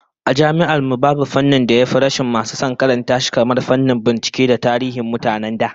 A Jami'ar mu, babu fannin da ya fi rashin masu son karanta shi kamar fannin binciken tarihin mutanen da